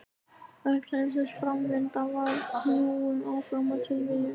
Öll heimsins framvinda var knúin áfram af tilviljunum.